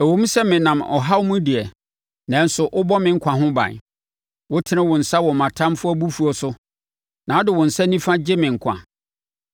Ɛwom sɛ menam ɔhaw mu deɛ, nanso wobɔ me nkwa ho ban; wotene wo nsa wɔ mʼatamfoɔ abufuo so, na wode wo nsa nifa gye me nkwa.